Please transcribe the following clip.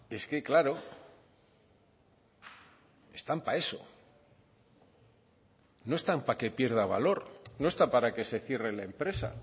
es que claro están para eso no están para que pierda valor no está para que se cierre la empresa